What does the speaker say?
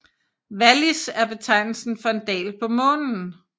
Vallis er betegnelsen for en dal på Månen